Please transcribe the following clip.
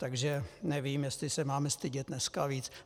Tak nevím, jestli se mám stydět dneska víc.